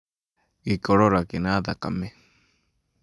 Gĩkorora kĩna thakame,